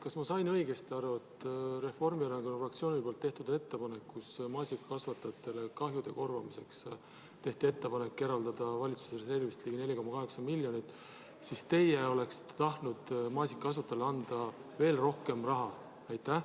Kas ma sain õigesti aru, et kui Reformierakonna fraktsiooni ettepanekus maasikakasvatajatele kahjude korvamiseks tehti ettepanek eraldada valitsuse reservist ligi 4,8 miljonit, siis teie oleksite tahtnud maasikakasvatajale anda veel rohkem raha?